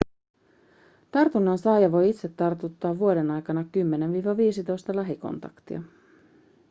tartunnan saaja voi itse tartuttaa vuoden aikana 10-15 lähikontaktia